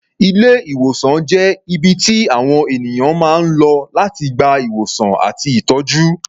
Ilé-ìwòsàn jẹ́ ibi tí àwọn ènìyàn máa ń lọ láti gba ìwòsàn àti ìtọ́jú.